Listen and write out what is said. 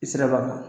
I sera ba kɔnɔ